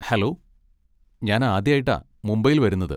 Hello, ഞാൻ ആദ്യായിട്ടാ മുംബൈയിൽ വരുന്നത്.